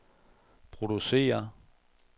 producere